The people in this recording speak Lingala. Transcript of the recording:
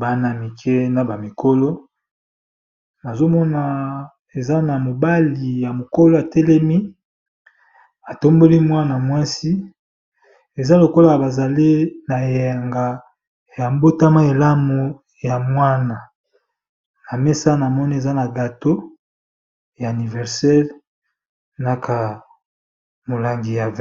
bana mike na bamikolo, na eza na mobali ya mokolo yatelemi atamboli mwana mwasi eza lokola bazale na eyanga yambotama elamu ya mwana. Na mesa na moni eza na gato ya aniversere naka molangi ya 20.